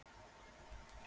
Er allt í lagi hjá þér?